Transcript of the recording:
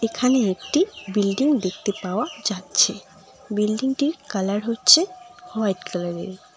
এখানে একটি বিল্ডিং দেখতে পাওয়া যাচ্ছে বিল্ডিংটির কালার হচ্ছে হোয়াইট কালারের।